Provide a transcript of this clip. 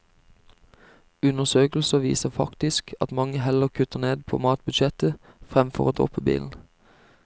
Undersøkelser viser faktisk at mange heller kutter ned på matbudsjettet fremfor å droppe bilen.